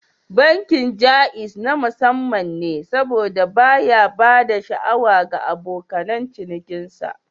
Bankin Jaiz na musamman ne saboda baya ba da sha'awa ga abokan cinikinsa